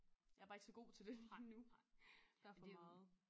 Jeg bare ikke så god til det lige nu der er for meget